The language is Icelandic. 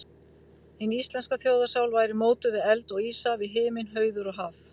Hin íslenska þjóðarsál væri mótuð við eld og ísa, við himinn, hauður og haf.